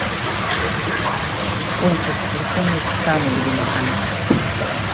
пончик включи мой самый любимый канал